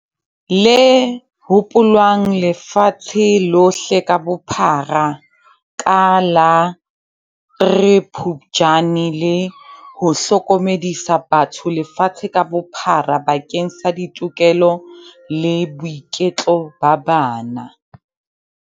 le hopolwang lefatshe lohle ka bophara ka la 03 Phuptjane, le ho hlokomedisa batho lefatshe ka bophara bakeng sa ditokelo le boiketlo ba bana.